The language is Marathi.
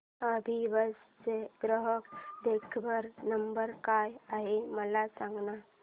अभिबस चा ग्राहक देखभाल नंबर काय आहे मला सांगाना